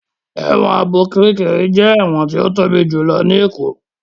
Ẹ̀wọ̀n Ààbò ti Kiríkirì jẹ́ ẹ̀wọ̀n tí ó tóbi jùlọ ní ìlú Èkó